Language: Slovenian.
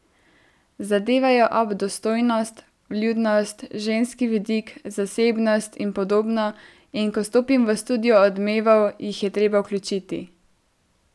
Zadevajo ob dostojnost, vljudnost, ženski vidik, zasebnost in podobno, in ko stopim v studio Odmevov, jih je treba vključiti.